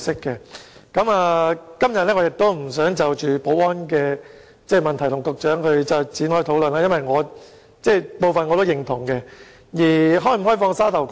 今天我不想就保安問題與局長討論，因為我也認同他的部分意見。